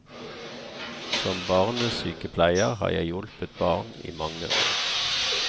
Som barnesykepleier har jeg hjulpet barn i mange år.